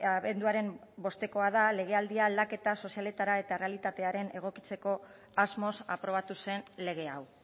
abenduaren bostekoa da legealdi aldaketa sozialetara eta errealitatera egokitzeko asmoz aprobatu zen lege hau